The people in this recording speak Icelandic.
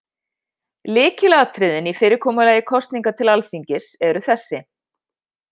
Lykilatriðin í fyrirkomulagi kosninga til Alþingis eru þessi: